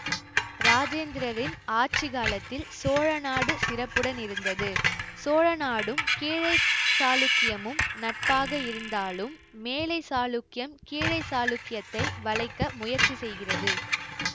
ராஜேந்திரரின் ஆட்சி காலத்தில் சோழ நாடு சிறப்புடன் இருந்தது சோழநாடும் கீழை சாளுக்கியமும் நட்பாக இருந்தாலும் மேலை சாளுக்கியம் கீழை சாளுக்கியத்தை வளைக்க முயற்சி செய்கிறது